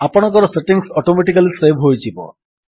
ଆପଣଙ୍କର settings automatically save ହୋଇଯିବ